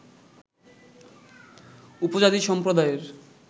উপজাতি সম্প্রদায়ের